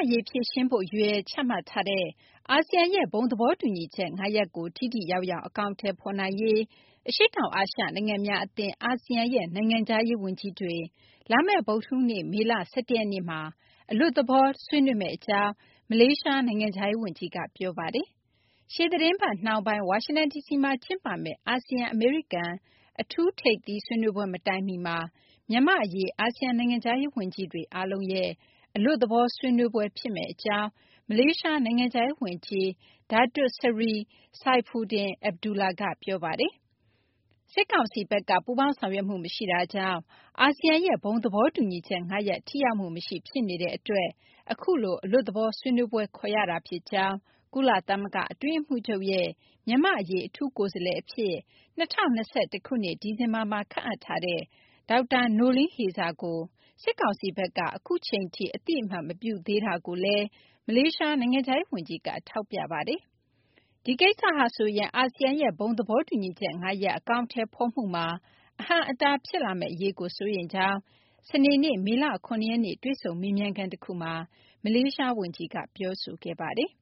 ရေး ဖြေရှင်းဖို့ ရည်ရွယ်ချမှတ်ထားတဲ့ အာဆီယံရဲ့ ဘုံသဘောတူညီချက် ၅ ရပ်ကို ထိထိရောက်ရောက် အကောင်အထည်ဖော်နိုင်ရေး အရှေ့တောင်အာရှ နိုင်ငံများအသင်း အာဆီယံရဲ့ နိုင်ငံခြားရေးဝန်ကြီးတွေ လာမယ့် ဗုဒ္ဓဟူးနေ့ မေလ ၁၁ ရက်နေ့မှာ အလွတ်သဘော တွေ့ဆုံဆွေးနွေးမယ့်အကြောင်း မလေးရှား နိုင်ငံခြားရေးဝန်ကြီးက ပြောပါတယ်။ ဒီသီတင်းပတ်နှောင်းပိုင်း ဝါရှင်တန်ဒီစီမှာ ကျင်းပမယ့် အာဆီယံ-အမေရိကန် အထူးထိပ်သီးဆွေးနွေးပွဲ မတိုင်မီမှာ မြန်မာ့အရေး အာဆီယံ နိုင်ငံခြားရေးဝန်ကြီးတွေ အားလုံးရဲ့ အလွတ်သဘော ဆွေးနွေးပွဲ ဖြစ်မယ့်အကြောင်း မလေးရှား နိုင်ငံခြားရေးဝန်ကြီး Datuk Seri Saifuddin Abdullah က ပြောပါတယ်။ စစ်ကောင်စီဘက်က ပူးပေါင်းဆောင်ရွက်မှု မရှိတာကြောင့် အာဆီယံရဲ့ ဘုံသဘောတူညီချက် ၅ ရပ် ထိရောက်မှုမရှိ ဖြစ်နေတဲ့အတွက် အခုလို အလွတ်သဘော ဆွေးနွေးပွဲ ခေါ်ရတာဖြစ်ကြောင်း၊ ကုလသမဂ္ဂ အတွင်းရေးမှူးချုပ်ရဲ့ မြန်မာ့အရေး အထူးကိုယ်စားလှယ်အဖြစ် ၂၀၂၁ ခုနှစ် ဒီဇင်ဘာမှာ ခန့်အပ်ထားတဲ့ ဒေါက်တာ Noeleen Heyzer ကို စစ်ကောင်စီဘက်က အခုအချိန်ထိ အသိအမှတ် မပြုသေးတာကိုလည်း မလေးရှား နိုင်ငံခြားရေးဝန်ကြီးက ထောက်ပြပါတယ်။ ဒီကိစ္စဟာဆိုရင် အာဆီယံရဲ့ ဘုံသဘောတူညီချက် ၅ ရပ် အကောင်အထည်ဖော်မှုမှာ အဟန့်အတား ဖြစ်လာမယ့် အရေးကို စိုးရိမ်ကြောင်း စနေနေ့ မေလ ၇ ရက်နေ့ တွေ့ဆုံမေးမြန်းခန်းတခုမှာ မလေးရှားဝန်ကြီးက ပြောဆိုခဲ့ပါတယ်။